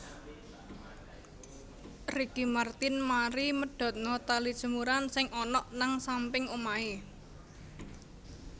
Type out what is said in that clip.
Ricky Martin mari medhotno tali jemuran sing onok nang samping omahe